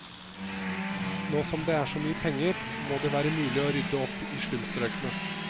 Nå som det er så mye penger må det være mulig å rydde opp i slumstrøkene.